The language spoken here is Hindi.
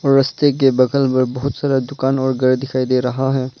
रस्ते के बगल में बहुत सारा दुकान और घर दिखाई दे रहा है।